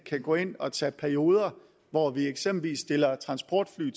kan gå ind og tage perioder hvor vi eksempelvis stiller transportfly